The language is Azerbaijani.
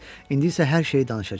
İndi isə hər şeyi danışacam.